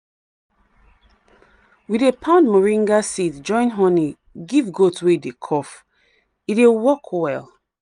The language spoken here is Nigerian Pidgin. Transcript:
we dey pound moringa seed join honey give goat wey dey cough — e dey work well.